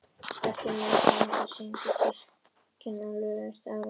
Eftir matinn var okkur sýnd kirkjan sem reist var á árunum